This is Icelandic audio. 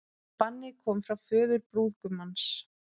Bannið kom frá föður brúðgumans